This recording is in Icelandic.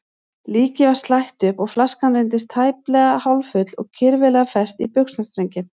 Líkið var slætt upp og flaskan reyndist tæplega hálffull og kirfilega fest í buxnastrenginn.